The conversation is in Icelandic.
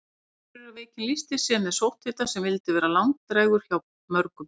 Akureyrarveikin lýsti sér með sótthita sem vildi vera langdrægur hjá mörgum.